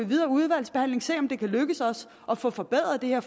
videre udvalgsarbejde kan lykkes os at få forbedret det her